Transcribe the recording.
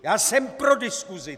Já jsem pro diskusi.